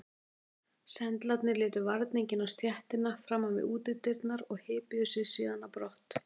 Sendlarnir létu varninginn á stéttina framan við útidyrnar og hypjuðu sig síðan á brott.